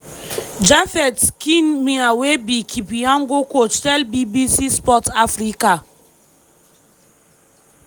japheth kemei wey be kipyegon coach tell bbc sport africa.